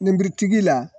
tigi la